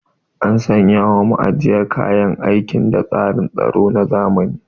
An sanya wa ma'ajiyar kayan aiki da tsarin tsaro na zamani.